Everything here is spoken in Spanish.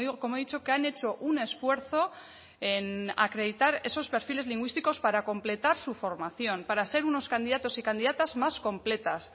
como he dicho que han hecho un esfuerzo en acreditar esos perfiles lingüísticos para completar su formación para ser unos candidatos y candidatas más completas